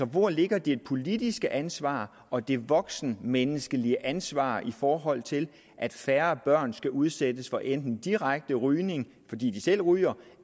hvor ligger det politiske ansvar og de voksnes menneskelige ansvar i forhold til at færre børn skal udsættes for enten direkte rygning fordi de selv ryger